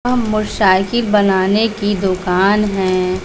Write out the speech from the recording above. यह मोटरसाइकिल बनाने की दुकान है।